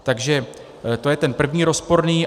Takže to je ten první rozporný.